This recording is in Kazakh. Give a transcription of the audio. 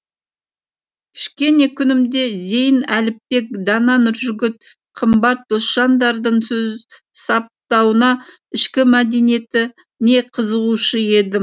кішкене күнімде зейін әліпбек дана нұржігіт қымбат досжандардың сөз саптауына ішкі мәдениетіне қызығушы едім